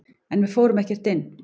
En við fórum ekkert inn.